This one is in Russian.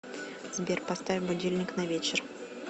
сбер поставь будильник на вечер